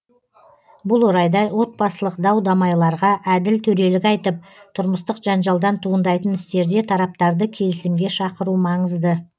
бұл орайда отбасылық дау дамайларға әділ төрелік айтып тұрмыстық жанжалдан туындайтын істерде тараптарды келісімге шақыру маңызды